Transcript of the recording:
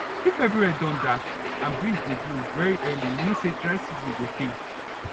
if everywhere don dark and breeze dey blow very early e mean say dry season go tay